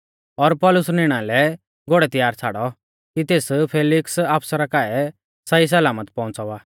और पौलुस निणा लै घोड़ै तैयार छ़ाड़ौ कि तेस फैलिक्स आफसरा काऐ सही सलामत पौउंच़ावा